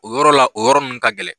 O yɔrɔ la o yɔrɔ minnu ka gɛlɛn